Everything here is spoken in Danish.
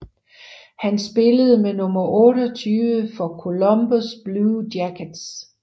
Han spillede med nummer 28 for Columbus Blue Jackets